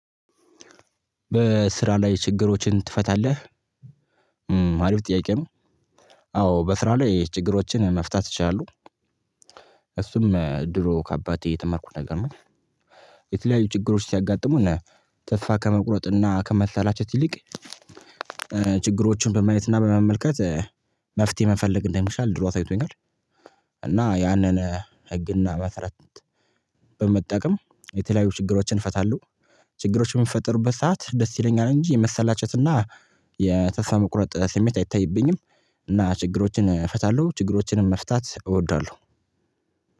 በስራ ላይ ችግሮችን ትፈታለህ? አሪፍ ጥያቄ ነው። አዎ በስራ ላይ ችግሮችን መፍታት ይቻላሉ። እሱም ድሮ ከአባቴ የተመርኩት ነገር ነው። የተለያዩ ችግሮች ሲያጋጥሙ እና ተስፋ ከመቁረጥ እና ከመሰላቸት ይልቅ ችግሮቹን በማየትና በመመልከት መፍትሄ መፈለግ እንደምችል ድሮ አሳይቶኛል። እና ያንን ህግና መስረት በመጠቀም የተለያዩ ችግሮችን እፈታለሁ። ችግሮችን የሚፈጥሩበት ሰዓት ደስ ይለኛል እንጂ የመሰላቸትና የተስፋ መቁረጥ ስሜት አይታይብኝም። እና ችግሮችን መፍታት እወደዋለሁ።